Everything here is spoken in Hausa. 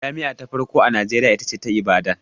Jami'a ta farko a Najeriya ita ce ta Ibadan